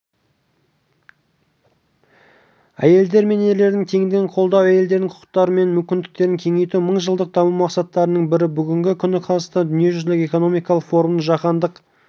әйелдер мен ерлердің теңдігін қолдау әйелдердің құқықтары мен мүмкіндіктерін кеңейту мыңжылдық даму мақсаттарының бірі бүгінгі күні қазақстан дүниежүзілік экономикалық форумның жаһандық